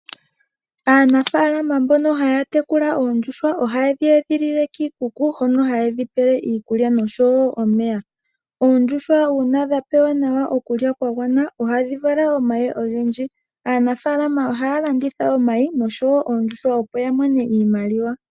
Aanafaalama mbono haya tekula oondjuhwa ohaye dhi edhilile kiikuku hono haye dhipele iikulya nosho wo omeya. Oondjuhwa uuna dhapewa nawa okulya kwagwana ohadhi vala omayi ogendji. Aanafaalama ohaya landitha omayi nosho wo oondjuhwa opo yamone iimaliwa.